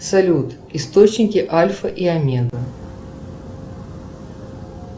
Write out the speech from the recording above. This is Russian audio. салют источники альфа и омега